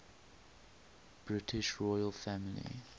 british royal family